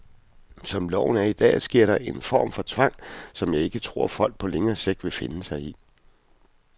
Som loven er i dag sker der en form for tvang, som jeg ikke tror, folk på længere sigt vil finde sig i.